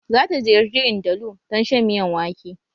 Za ta ziyarci Ndalu don shan miyan wake